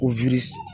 Ko